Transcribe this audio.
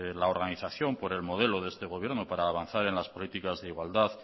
la organización por el modelo de este gobierno para avanzar en las políticas de igualdad